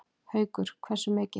Haukur: Hversu mikið?